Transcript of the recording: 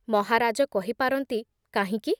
ମହାରାଜ କହି ପାରନ୍ତି, କାହିଁକି